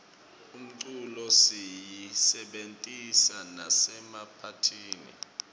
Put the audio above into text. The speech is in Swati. umculo siyisebentisa nasemaphathini